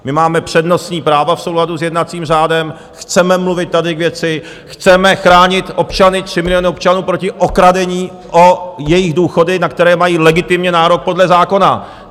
My máme přednostní práva v souladu s jednacím řádem, chceme mluvit tady k věci, chceme chránit občany, tři miliony občanů proti okradení o jejich důchody, na které mají legitimně nárok podle zákona!